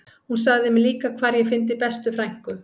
Hún sagði mér líka hvar ég fyndi bestu frænku